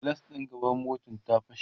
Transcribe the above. gilas ɗin gaban motar ta fashe